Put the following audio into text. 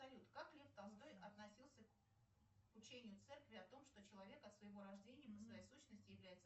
салют как лев толстой относился к учению церкви о том что человек от своего рождения по своей сущности является